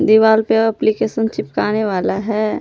दिवाल पे एप्लिकेशन चिपकने वाला है।